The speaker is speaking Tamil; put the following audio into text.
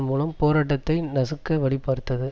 மூலம் போராட்டத்தை நசுக்க வழிபார்த்தது